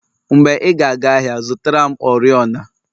Mgbe ị ga aga ahịa zụtara m oriọna